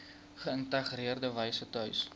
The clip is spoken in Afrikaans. geïntegreerde wyse tuis